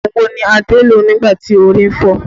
Ogun wo ni Adé lò nígbà tí orí ń fọ́ ọ?